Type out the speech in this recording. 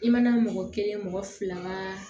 I mana mɔgɔ kelen mɔgɔ fila ba